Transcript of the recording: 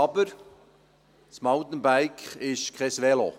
Aber: Ein Mountainbike ist kein Velo.